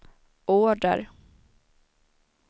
order